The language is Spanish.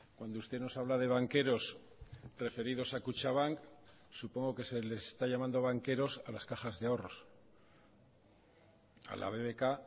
cuando usted nos habla de banqueros referidos a kutxabank supongo que se les está llamando banqueros a las cajas de ahorros a la bbk